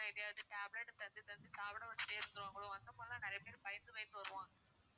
ஏதாவது tablet தந்து தந்து சாப்பிட வச்சிட்டே இருந்திருவாங்களோ அந்த மாதிரி எல்லாம் நிறைய பேரு பயந்து பயந்து வருவாங்க